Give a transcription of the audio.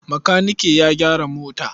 Makanike ya gyara mota.